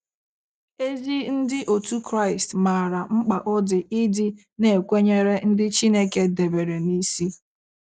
Ezi Ndị otu Kraịst maara mkpa ọ dị ịdị na - ekwenyere ndị Chineke debere n’isi.